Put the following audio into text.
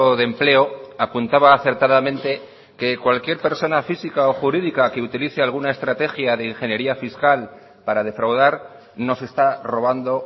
de empleo apuntaba acertadamente que cualquier persona física o jurídica que utilice alguna estrategia de ingeniería fiscal para defraudar nos está robando